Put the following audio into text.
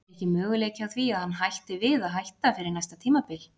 Er ekki möguleiki á því að hann hætti við að hætta fyrir næsta tímabil?